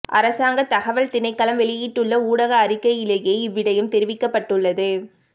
அரசாங்க தகவல் திணைக்களம் வெளியிட்டுள்ள ஊடக அறிக்கையிலேயே இவ்விடயம் தெரிவிக்கப்பட்டுள்ளது